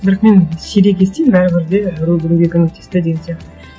бірақ мен сирек естимін бәрібір де біреу біреуге көмектесті деген сияқты